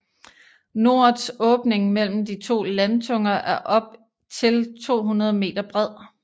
Norets åbning mellem de to landtunger er op til 200 m bred